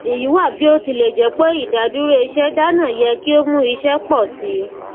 èyí wá bí ó tilẹ jẹ ìdádúró iṣẹ dana yẹ kí ó mú iṣẹ pọ sí i